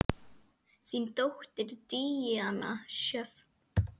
Þín dóttir, Díana Sjöfn.